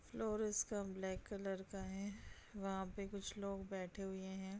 Floor उसका black colour का है वहां पे कुछ लोग बैठे हुए हैं।